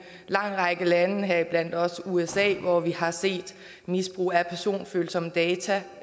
lang række lande heriblandt også usa hvor vi har set misbrug af personfølsomme data